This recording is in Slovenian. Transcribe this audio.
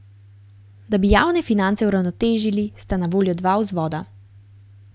Da bi javne finance uravnotežili, sta na voljo dva vzvoda.